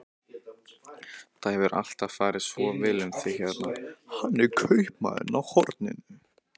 Það hefur alltaf farið svo vel um þig hérna.